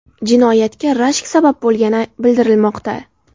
Jinoyatga rashk sabab bo‘lgani bildirilmoqda.